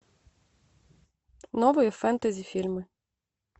новые фентези фильмы